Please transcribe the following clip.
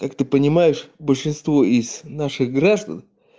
как ты понимаешь большинство из наших граждан